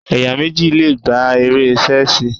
Ẹ̀yàn méjì le gbá eré Ṣẹ́sìì.